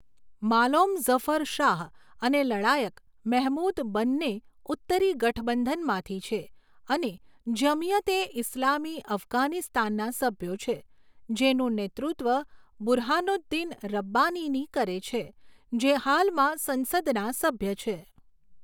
માલોમ ઝફર શાહ અને લડાયક મેહમૂદ બંને ઉત્તરી ગઠબંધનમાંથી છે અને જમિયત એ ઇસ્લામી અફઘાનિસ્તાનના સભ્યો છે, જેનું નેતૃત્વ બુરહાનુદ્દીન રબ્બાનીની કરે છે, જે હાલમાં સંસદના સભ્ય છે.